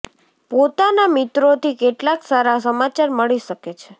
પોતાના મિત્રોથી કેટલાક સારા સમાચાર મળી શકે છે